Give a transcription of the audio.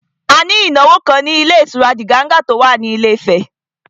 A ní ìnáwó kan ní ilé ìtura Diganga tó wà ní Ilé Ifẹ̀